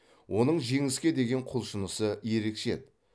оның жеңіске деген құлшынысы ерекше еді